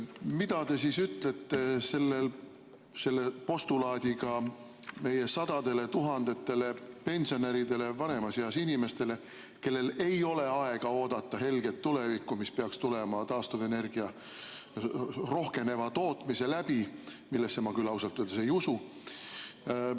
Mida te ütlete selle postulaadiga meie sadadele tuhandetele pensionäridele, vanemas eas inimestele, kellel ei ole aega oodata helget tulevikku, mis peaks tulema taastuvenergia rohkeneva tootmise läbi, millesse ma küll ausalt öeldes ei usu?